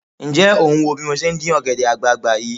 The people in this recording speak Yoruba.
Ǹjẹ́ ò ń bí mo ṣe ń dín ọ̀gẹ̀dẹ̀ àgbààgbà yìí?